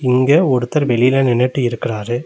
இங்க ஒருத்தர் வெளில நின்னுட்டு இருக்குறாரு.